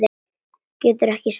Getur ekki staðið.